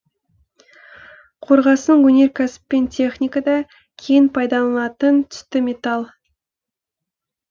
қорғасын өнеркәсіп пен техникада кең пайдаланылатын түсті металл